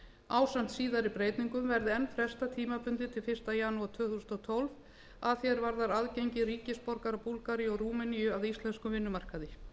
ásamt síðari breytingum verði enn frestað tímabundið til fyrsta janúar tvö þúsund og tólf að því er varðar aðgengi ríkisborgara búlgaríu og rúmeníu að íslenskum vinnumarkaði